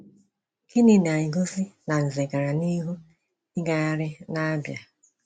Gịnị na-egosi na Nze gara n’ihu ịgagharị n’Abịa?